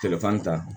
Telefɔni ta